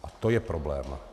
A to je problém.